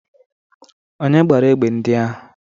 Onye gbara egbe ndị ahụ?